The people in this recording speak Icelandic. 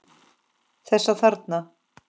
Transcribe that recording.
Þessa þarna!